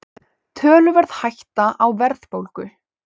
Töluverð hætta á verðbólgu